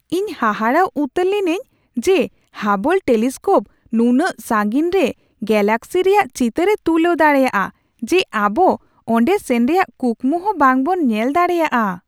ᱤᱧ ᱦᱟᱦᱟᱲᱟ ᱩᱛᱟᱹᱨ ᱞᱤᱱᱟᱹᱧ ᱡᱮ ᱦᱟᱵᱚᱞ ᱴᱮᱞᱤᱥᱠᱳᱯ ᱱᱩᱱᱟᱹᱜ ᱥᱟᱺᱜᱤᱧ ᱨᱮ ᱜᱮᱞᱟᱠᱥᱤ ᱨᱮᱭᱟᱜ ᱪᱤᱛᱟᱨᱮ ᱛᱩᱞᱟᱹᱣ ᱫᱟᱲᱮᱭᱟᱜᱼᱟ ᱡᱮ ᱟᱵᱚ ᱚᱸᱰᱮ ᱥᱮᱱ ᱨᱮᱭᱟᱜ ᱠᱩᱠᱢᱩ ᱦᱚᱸ ᱵᱟᱝ ᱵᱚᱱ ᱧᱮᱞ ᱫᱟᱲᱮᱭᱟᱜᱼᱟ ᱾